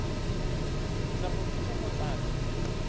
tla go thusa go tlatsa